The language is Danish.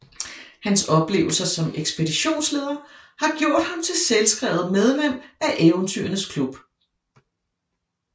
Hans oplevelser som ekspeditionsleder har gjort ham til selvskrevet medlem af Eventyrernes Klub